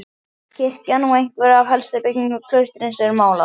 Kirkjan og einhverjar af helstu byggingum klaustursins eru málaðar.